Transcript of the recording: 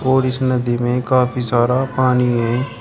और इस नदी में काफी सारा पानी है।